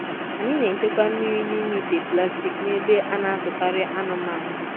Anyị na-echekwa mmiri nime ite plastik nebe a na-azụkarị anụmanụ.